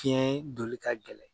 Tiyɛn doli ka gɛlɛn.